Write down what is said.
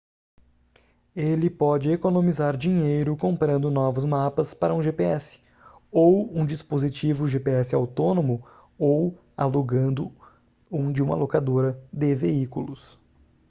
ele pode economizar dinheiro comprando novos mapas para um gps ou um dispositivo gps autônomo ou alugando um de uma locadora de veículos